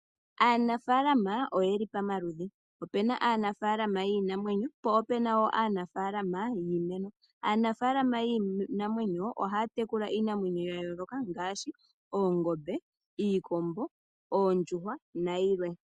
Aanafalama oye li pamaludhi, opena aanafaalama yiinamwenyo, po ope na wo aanafaalama yiimeno. Aanafalama yiinamwenyo ohaya tekula iinamwenyo ya yoloka ngaashi oongombe, iikombo, oondjuhwa nayilwe.